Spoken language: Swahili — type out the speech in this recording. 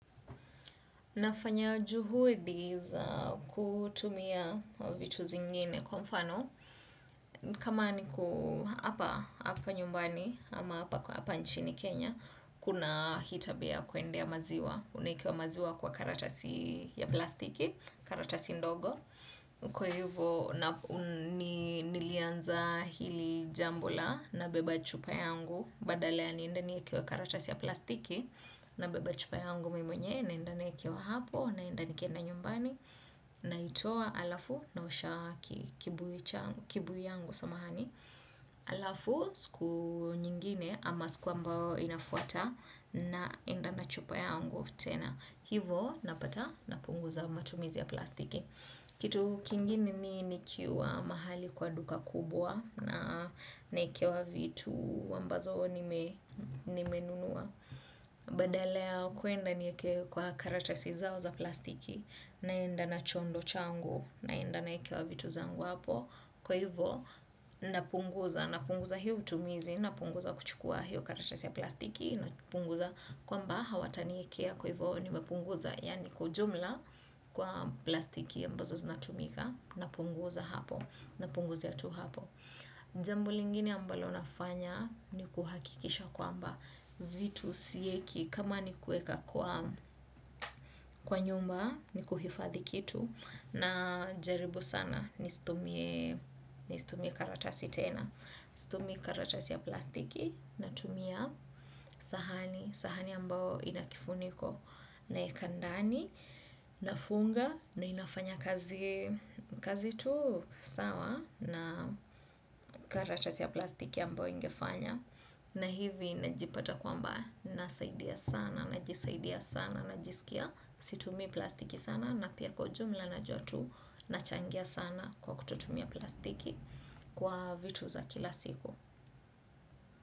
Nafanya juhudi za kutumia vitu zingine kwa mfano. Kama niko hapa nyumbani ama hapa nchini Kenya, kuna hitabia kwendea maziwa. Unaikiwa maziwa kwa karatasi ya plastiki, karatasi ndogo. Kwa hivo, nilianza hili jambo la na beba chupa yangu. Badala ya niende niekewe karatasi ya plastiki na beba chupa yangu memonye naenda nikewa hapo, naenda nikienda nyumbani na itoa alafu na usha kibu yangu samahani alafu siku nyingine ama siku ambao inafuata naenda nachupa yangu tena hivo napata na punguza matumizi ya plastiki kitu kingine ni nikiwa mahali kwa duka kubwa na naekewa vitu ambazo nimenunua badala ya kuenda niyekewe kwa karatasi zao za plastiki naenda na chondo changu naenda naekewa vitu zangu hapo kwa hivo napunguza napunguza hiyo utumizi napunguza kuchukua hiyo karatasi ya plastiki napunguza kwamba hawata niyekea kwa hivo nimepunguza yani kwa ujumla kwa plastiki ambazo zinatumika napunguza hapo napunguza ya tu hapo jambu lingini ambalo nafanya ni kuhakikisha kwamba vitu sieki kama ni kueka kwa nyumba ni kuhifadhi kitu na jaribu sana nisitumie karatasi tena situmii karatasi ya plastiki natumia sahani sahani ambao ina kifuniko naeka ndani na funga na inafanya kazi tu sawa na karatasi ya plastiki ambao ingefanya na hivi najipata kwa mbae, nasaidia sana, najisaidia sana, najisikia, situmi plastiki sana, napia kwa jumla na jotu, nachangia sana kwa kututumia plastiki kwa vitu za kila siku.